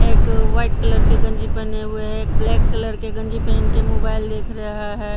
एक white colour के गंजी पेहेने हुए है एक ब्लैक कलर के गंजी पेहेन के मोबाइल देख रहे है।